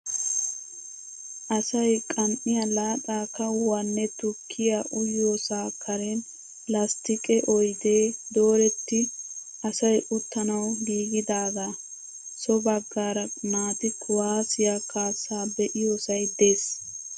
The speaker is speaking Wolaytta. Asayi kan'iyaa laaxaa kawuwaanne tukkiyaa uyiyoosaa karen lasttiqee oyidee dooretti asayi uttanawu giigidaagaa. So bagaara naati kuwaazziyaa kaassaa be'iyosayi des.